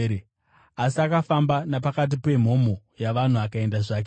Asi akafamba napakati pemhomho yavanhu akaenda zvake.